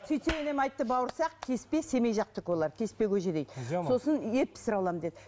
сөйтсе енем айтыпты бауырсақ кеспе семей жақтікі олар кеспе көже дейді сосын ет пісіре аламын деді